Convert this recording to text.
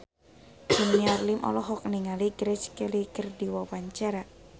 Junior Liem olohok ningali Grace Kelly keur diwawancara